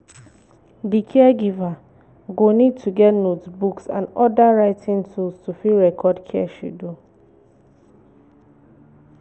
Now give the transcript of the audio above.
di caregiver go need to get notebook and oda writing tools to fit record care schedule